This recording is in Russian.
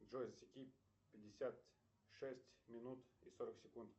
джой засеки пятьдесят шесть минут и сорок секунд